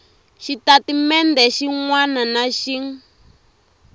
xitatimende xin wana na xin